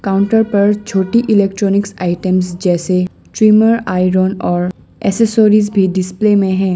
Counter पर छोटी electronics items जैसे ट्रिमर आयरन और एक्सेसरीज भी डिस्प्ले में है।